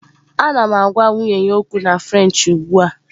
Ana m agwa nwunye ya okwu na French ugbu a